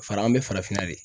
Fara an be farafinna de